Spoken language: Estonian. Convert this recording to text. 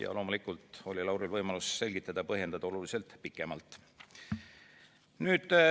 Ja loomulikult oli Lauril võimalus selgitada ja põhjendada oluliselt pikemalt.